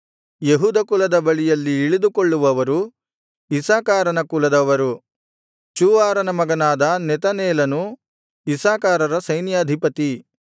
ಯೆಹೂದ ಕುಲದ ಬಳಿಯಲ್ಲಿ ಇಳಿದುಕೊಳ್ಳುವವರು ಇಸ್ಸಾಕಾರನ ಕುಲದವರು ಚೂವಾರನ ಮಗನಾದ ನೆತನೇಲನು ಇಸ್ಸಾಕಾರರ ಸೈನ್ಯಾಧಿಪತಿ